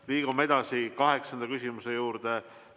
Liigume edasi kaheksanda küsimuse juurde.